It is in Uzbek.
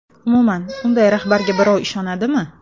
Umuman, unday rahbarga birov ishonadimi?